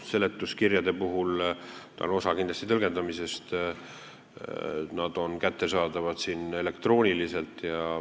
Seletuskirjad on kindlasti osa tõlgendamisest, nad on kättesaadavad elektrooniliselt.